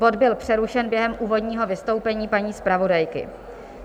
Bod byl přerušen během úvodního vystoupení paní zpravodajky.